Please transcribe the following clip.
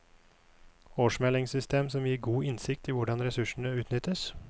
Årsmeldingssystem som gir god innsikt i hvordan ressursene utnyttes.